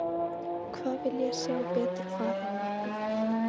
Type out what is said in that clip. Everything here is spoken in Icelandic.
Hvað vil ég sjá betur fara á morgun?